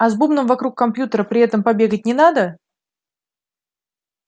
а с бубном вокруг компьютера при этом побегать не надо